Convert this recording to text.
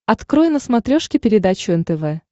открой на смотрешке передачу нтв